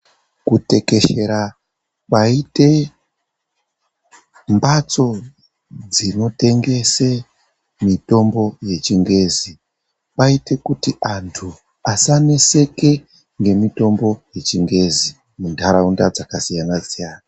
Kutekeshera kwaite mbatso dzinotengese mitombo yechingezi kwaite kuti antu asaneseke nemitombo yechingezi muntaraunda dzakasiyana siyana.